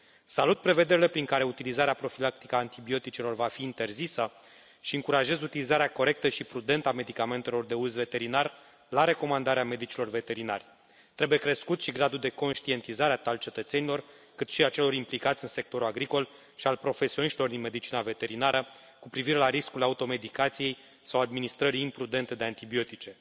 Salut prevederile prin care utilizarea profilactică a antibioticelor va fi interzisă și încurajez utilizarea corectă și prudentă a medicamentelor de uz veterinar la recomandarea medicilor veterinari. Trebuie crescut și gradul de conștientizare al cetățenilor cât și al celor implicați în sectorul agricol și al profesioniștilor din medicina veterinară cu privire la riscul automedicației sau administrării imprudente de antibiotice.